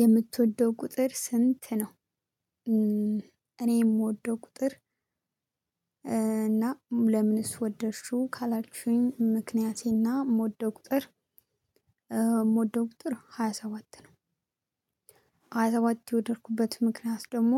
የምትወደው ቁጥር ስንት ነው? እኔ የምወደው ቁጥር። ለምንስ ወደድሽው ካላችሁኝ ምክንያቴና የምወደው ቁጥር። ቁጥር ሃያ ሰባት ነው። ሃያ ሰባት የወደድኩበት ምክንያት ደግሞ